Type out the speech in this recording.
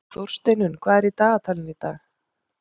Þórsteinunn, hvað er í dagatalinu í dag?